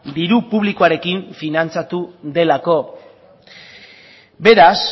diru publikoarekin finantzatu delako beraz